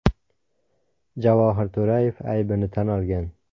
Javohir To‘rayev aybini tan olgan.